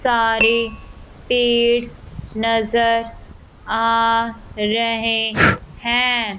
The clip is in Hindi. सारे पेड़ नजर आ रहे हैं।